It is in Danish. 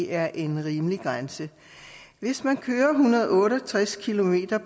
er en rimelig grænse hvis man kører en hundrede og otte og tres kilometer